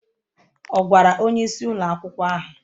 Ọ̀ gwara onyeisi ụlọ akwụkwọ ahụ?